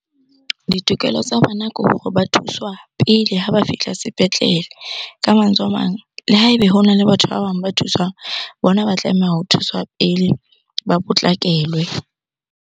Ditokelo tsa bona ke hore ba thuswa pele ha ba fihla sepetlele. Ka mantswe a mang, le ha ebe hona le batho ba bang ba thuswang, bona ba tlameha ho thuswa pele ba potlakelwe.